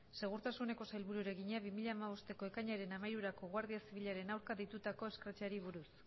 segurtasuneko sailburuari egina bi mila hamabosteko ekainaren hamairurako guardia zibilaren aurka deitutako escrache ari buruz